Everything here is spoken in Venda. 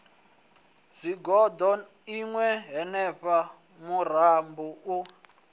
zwigoḓo ṋna henefha murumba u